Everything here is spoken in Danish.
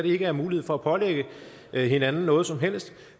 ikke mulighed for at pålægge hinanden noget som helst